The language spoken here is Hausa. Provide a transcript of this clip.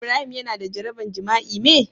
Ibrahim Yana da jaraban jima'i me?